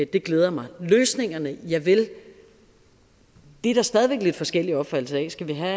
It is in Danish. det glæder mig løsningerne javel dem er der stadig lidt forskellige opfattelser af skal vi have